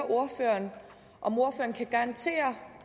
ordføreren om ordføreren kan garantere